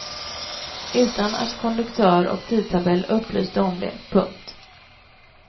Utan att konduktör och tidtabell upplyste om det. punkt